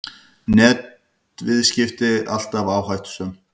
Netviðskipti alltaf áhættusöm